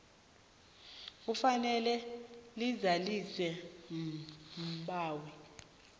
kufanele lizaliswe mbawi